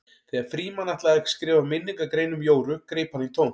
Þegar Frímann ætlaði að skrifa minningargrein um Jóru greip hann í tómt.